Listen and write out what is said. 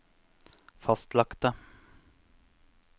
fastlagte